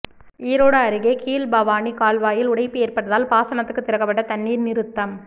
ஈரோடு அருகே கீழ்பவானி கால்வாயில் உடைப்பு ஏற்பட்டதால் பாசனத்துக்கு திறக்கப்பட்ட தண்ணீர் நிறுத்தம்